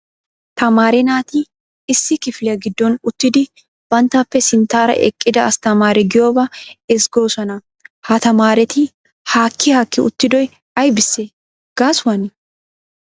Tamaare naati issi kifiliya giddon uttidi banttappe sinttara eqqida astamaree giyooba ezggoosona. Ha tamaareti haakki haakki uttidoy aybbise gaasuwane ?